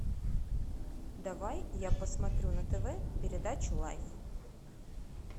давай я посмотрю на тв передачу лайф